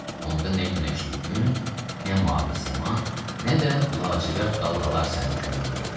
Onda nə günəşli gün, nə mavi səma, nə də lacivərt dalğalar sənin köməyinə gələcək.